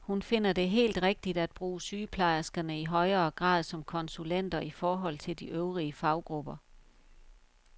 Hun finder det helt rigtigt at bruge sygeplejerskerne i højere grad som konsulenter i forhold til de øvrige faggrupper.